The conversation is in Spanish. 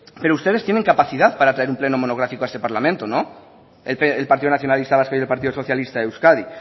pero ustedes tiene capacidad para traer un pleno monográfico a este parlamento no el partido nacionalista vasco y el partido socialista de euskadi